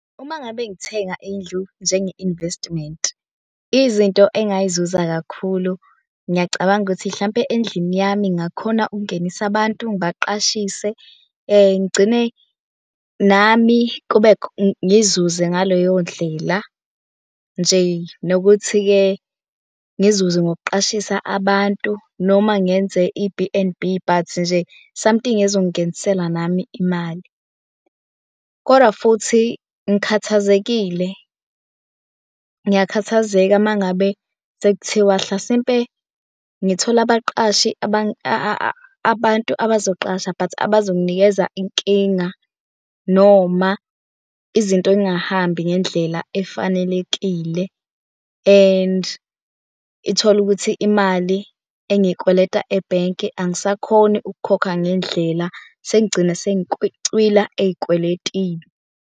Uma ngabe ngithenga indlu njenge-investment, izinto engayizuza kakhulu, ngiyacabanga ukuthi hlampe endlini yami ngakhona ukungenisa abantu ngibaqashise ngigcine nami kube ngizuze ngaleyo ndlela nje. Nokuthi-ke ngizuze ngokuqashisa abantu noma ngenze i-B_N_B but nje somehting ezongingenisela nami imali kodwa futhi ngikhathazekile. Ngiyakhathazeka uma ngabe sekuthiwa hlasimpe ngithole abaqashi abantu abazoqasha but abazonginikeza inkinga noma izinto yingahambi ngendlela efanelekile and ithole ukuthi imali engikweleta ebhenki angisakhoni ukukhokha ngendlela. Sengigcina sengicwila ey'kweletini.